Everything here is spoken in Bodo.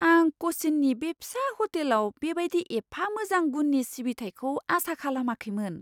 आं कचिन्नि बे फिसा हटेलाव बे बायदि एफा मोजां गुननि सिबिथाइखौ आसा खालामाखैमोन।